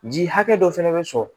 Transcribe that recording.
Ji hakɛ dɔ fɛnɛ bɛ sɔrɔ